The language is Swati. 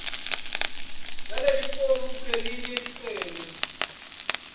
yalelifomu kulelelinye licele